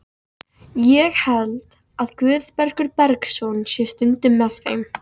Ég held að Guðbergur Bergsson sé stundum með þeim.